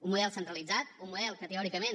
un model centralitzat un model que teòricament